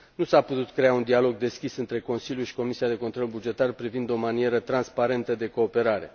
Nu s a putut crea un dialog deschis între Consiliu și Comisia pentru control bugetar privind o manieră transparentă de cooperare.